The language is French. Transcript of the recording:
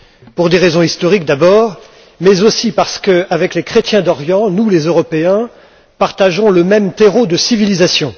Pour des raisons historiques, d'abord, mais aussi parce qu'avec les chrétiens d'Orient, nous, les Européens, partageons le même terreau de civilisation.